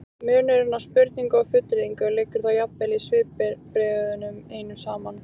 munurinn á spurningu og fullyrðingu liggur þá jafnvel í svipbrigðunum einum saman